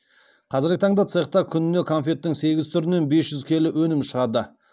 қазіргі таңда цехта күніне конфеттің сегіз түрінен бес жүз келі өнім шығады